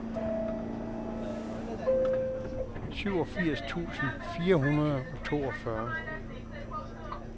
syvogfirs tusind fire hundrede og toogfyrre